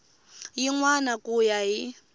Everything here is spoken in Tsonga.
yin wana ku ya hi